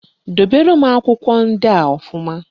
Dobere m akwụkwọ ndịa ọfụma